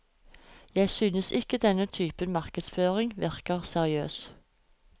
Jeg synes ikke denne typen markedsføring virker seriøs.